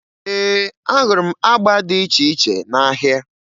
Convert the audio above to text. Ee, ahụrụ m agba dị iche iche n'ahịa.